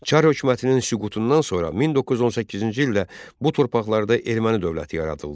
Çar hökumətinin süqutundan sonra 1918-ci ildə bu torpaqlarda erməni dövləti yaradıldı.